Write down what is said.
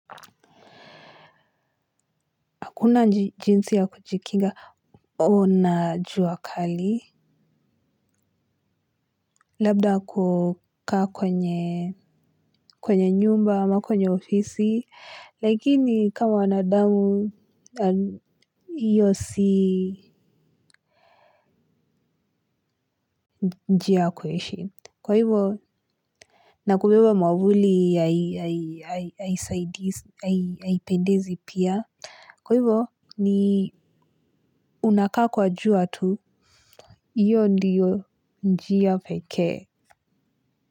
Kuna jinsi ya kuchikinga, ona jua kali. Labda kukaa kwenye nyumba ama kwenye ofisi. Lakini kama wanadamu, iyo si njia kueshi. Kwa hivo, nakubiba mwavuli ya ipendezi pia. Kwa hivo, ni unakaa kwa jua tu, iyo ndiyo njia pekee.